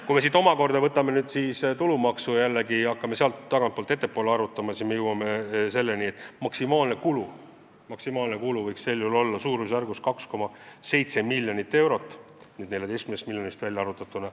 Kui me siit omakorda võtame tulumaksu ja hakkame sealt tagantpoolt ettepoole arutama, siis jõuame selleni, et maksimaalne maksutulu kaotus võiks sel juhul olla suurusjärgus 2,7 miljonit eurot.